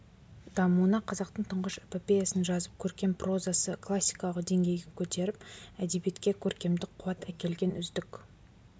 дамуына қазақтың тұңғыш эпопеясын жазып көркем прозаны классикалық деңгейге көтеріп әдебиетке көркемдік қуат әкелген үздік